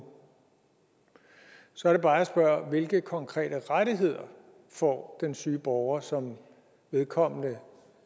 så er det bare jeg spørger hvilke konkrete rettigheder får den syge borger som vedkommende